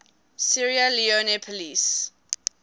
sierra leone police